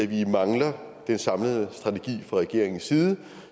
vi mangler den samlede strategi fra regeringens side